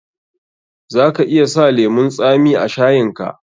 Za ka iya sa lemun tsami a shayin ka.